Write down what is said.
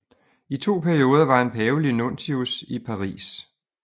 I to perioder var han pavelig nuntius i Paris